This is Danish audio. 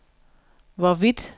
hvorvidt